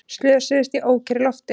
Slösuðust í ókyrru lofti